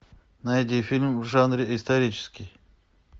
найди фильм в жанре исторический